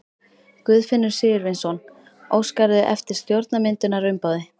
Guðfinnur Sigurvinsson: Óskarðu eftir stjórnarmyndunarumboði?